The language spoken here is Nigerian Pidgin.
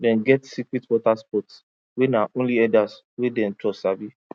dem get secret water spots wey na only herders wey dem trust sabi